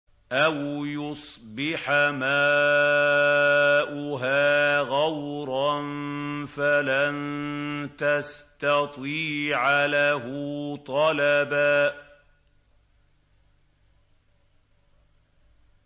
أَوْ يُصْبِحَ مَاؤُهَا غَوْرًا فَلَن تَسْتَطِيعَ لَهُ طَلَبًا